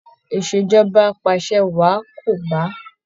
ìṣèjọba apàṣẹwàá kò bá